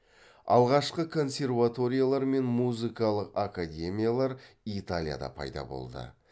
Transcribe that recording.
алғашқы консерваториялар мен музыкалық академиялар италияда пайда болды